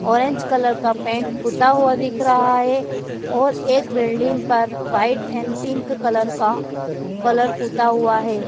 Orange colour का paint पुता हुआ दिख रहा है और एक बिल्डिंग पर व्हाईट एंड पिंक कलर का कलर पुता हुआ है।